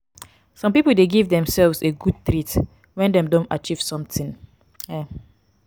some pipo de give themselves a good treat when dem don achieve something um